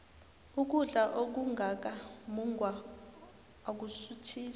ukudla okungaka mungwa akusuthisi